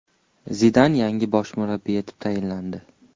Zidan yangi bosh murabbiy etib tayinlandi.